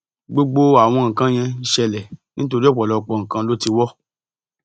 gbogbo àwọn nǹkan yẹn ń ṣẹlẹ nítorí ọpọlọpọ nǹkan ló ti wọ